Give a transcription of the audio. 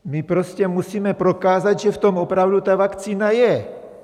My prostě musíme prokázat, že v tom opravdu ta vakcína je!